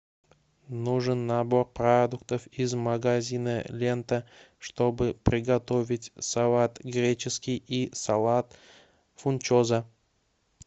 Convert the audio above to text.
нужен набор продуктов из магазина лента чтобы приготовить салат греческий и салат фунчоза